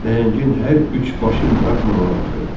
Nəhəngin hər üç başı maraqla ona baxırdı.